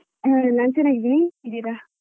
ನಾನ್ ಚೆನ್ನಾಗಿದ್ದೇನೆ ನೀವ್ ಹೇಗಿದ್ದೀರಾ?